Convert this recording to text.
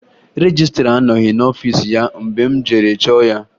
Rejistra anọghị n'ọfiisi ya mgbe m jere chọọ ya